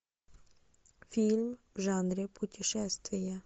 фильм в жанре путешествие